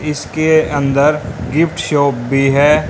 इसके अंदर gift shop भी है।